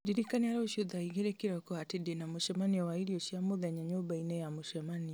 ndirikania rũciũ thaa igĩrĩ kĩroko atĩ ndĩna mũcemanio wa irio cia mũthenya nyũmba-inĩ ya mũcemanio